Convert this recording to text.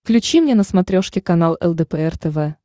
включи мне на смотрешке канал лдпр тв